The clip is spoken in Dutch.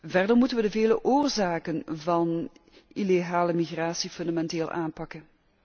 Verder moeten wij de vele oorzaken van illegale migratie fundamenteel aanpakken.